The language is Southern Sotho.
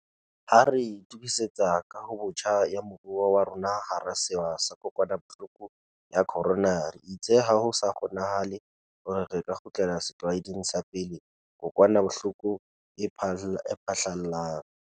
Ha re itukisetsa kahobotjha ya moruo wa rona hara sewa sa kokwanahloko ya corona, re itse ha ho sa kgonanahale hore re ka kgutlela setlwaeding sa pele kokwanahloko e phahlalla.